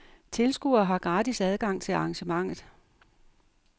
Tilskuere har gratis adgang til arrangementet.